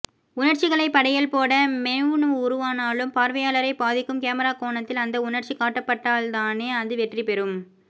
உணர்ச்சிகளைப் படையல் போட மென்வ் உருவானாலும் பார்வையாளரைப் பாதிக்கும் கேமரா கோணத்தில் அந்த உணர்ச்சி காட்டப்பட்டால்தானே அது வெற்றிபெறும்